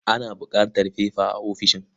Ana buƙatar fefa a ofishin.